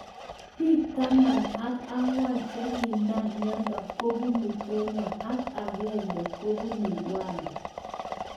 Bik taman ak angwan chekinam mnyendo kobunu kenya ak akenge kobunu rwanda.